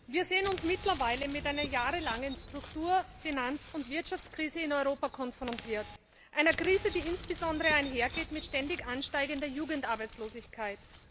Wir sehen uns mittlerweile mit einer jahrelangen Struktur Finanz und Wirtschaftskrise in Europa konfrontiert einer Krise, die insbesondere einhergeht mit ständig ansteigender Jugendarbeitslosigkeit.